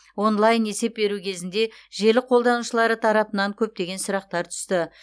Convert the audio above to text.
онлайн есеп беру кезінде желі қолданушылары тарапынан көптеген сұрақтар түсті